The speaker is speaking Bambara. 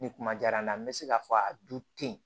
Ni kuma diyara n na n be se k'a fɔ a du te yen